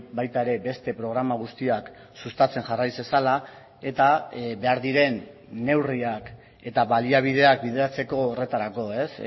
baita ere beste programa guztiak sustatzen jarrai zezala eta behar diren neurriak eta baliabideak bideratzeko horretarako ez